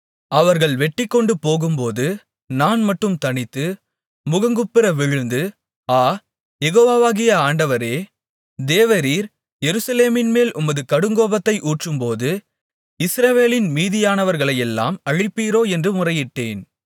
அவர்கள் வெட்டிக்கொண்டுபோகும்போது நான் மட்டும் தனித்து முகங்குப்புற விழுந்து ஆ யெகோவாகிய ஆண்டவரே தேவரீர் எருசலேமின்மேல் உமது கடுங்கோபத்தை ஊற்றும்போது இஸ்ரவேலின் மீதியானவர்களையெல்லாம் அழிப்பீரோ என்று முறையிட்டேன்